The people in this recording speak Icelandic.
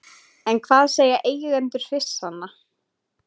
En hvað segja eigendur hryssnanna?